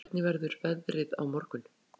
Styr, hvernig verður veðrið á morgun?